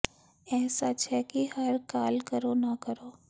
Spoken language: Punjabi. ਇਹ ਸੱਚ ਹੈ ਕਿ ਹਰ ਕਾਲ ਕਰੋ ਨਾ ਕਰੋ